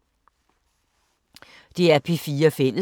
DR P4 Fælles